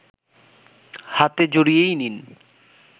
হাতে জড়িয়েই নিন